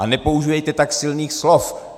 A nepoužívejte tak silných slov.